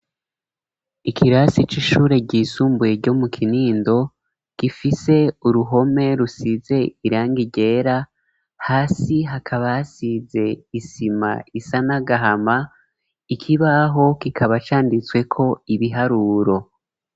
Ikirasi c'ishure ry'isumbuye ryo mu Kinindo gifise uruhome rusize irangi ryera, hasi hakaba hasize isima isa nagahama ,ikibaho kikaba canditsweko ibiharuro.